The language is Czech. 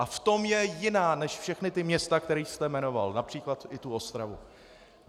A v tom je jiná než všechna ta města, která jste jmenoval, například i tu Ostravu.